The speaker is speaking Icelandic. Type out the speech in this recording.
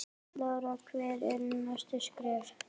Lára: Hver eru næstu skerf?